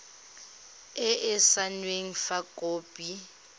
e e saenweng fa khopi